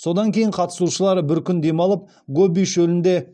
содан кейін қатысушылар бір күн демалып гоби шөлінде